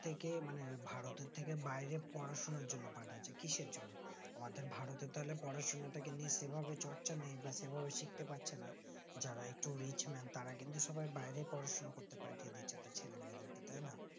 থেকে মানে ভারতের থেকে বাইরে পড়াশোনার জন পাঠাচ্ছে কিসের জন্য পাঠাচ্ছে কিসের জন্য অদের ভারতে তাহলে পড়াশোনা তাকে নিয়ে সেভাবে চর্চা নেই বা সেভাবে শিখতে পারছে না যারা একটু rich man তারা কিন্তু সবাই বাইরে পড়াশোনা করতে পাঠিয়ে দিচ্ছে তাই না